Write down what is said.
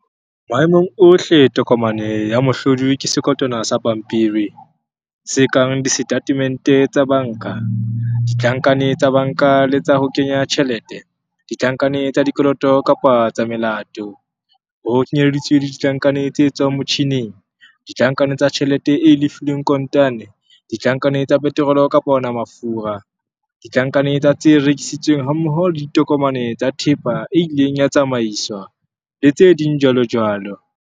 Maemong ohle tokomane ya mohlodi ke sekotwana sa pampiri, se kang disetatemente tsa banka, ditlankane tsa banka le tsa ho kenya tjhelete, ditlankane tsa dikoloto kapa tsa melato, ho kenyeleditswe le ditlankane tse tswang motjhineng, ditlankane tsa tjhelete e lefilweng kontane, ditlankane tsa peterole kapa wona mafura, ditlankane tsa tse rekisitsweng hammoho le ditokomane tsa thepa e ileng ya tsamaiswa, le tse ding jwalojwalo.